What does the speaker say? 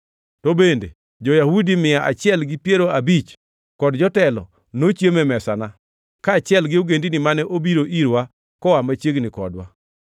To bende, jo-Yahudi mia achiel gi piero abich kod jotelo nochiemo e mesana, kaachiel gi ogendini mane obiro irwa koa machiegni kodwa.